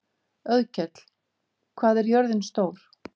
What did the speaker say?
Auðkell, hvað er jörðin stór?